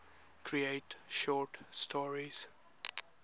create short stories